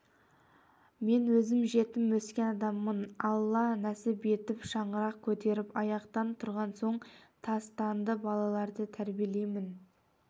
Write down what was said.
мен өзім жетім өскен адаммын алла нәсіп етіп шаңырақ көтеріп аяқтан тұрған соң тастанды балаларды тәрбиелеймін